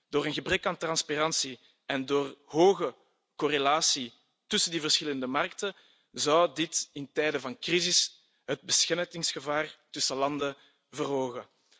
Door een gebrek aan transparantie en door een hoge correlatie tussen die verschillende markten, zou dit in tijden van crisis het besmettingsgevaar tussen landen verhogen.